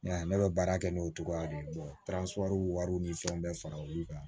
N y'a ne bɛ baara kɛ n'o cogoya de ye wariw ni fɛnw bɛɛ fara olu kan